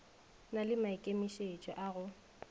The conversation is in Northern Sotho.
na le maikemišetšo a go